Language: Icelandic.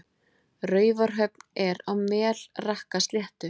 Raufarhöfn er á Melrakkasléttu.